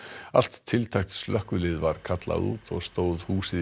allt tiltækt slökkvilið var kallað út og stóð húsið í